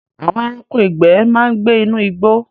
Àwọn ẹranko ìgbẹ́ ma ń gbé inú igbó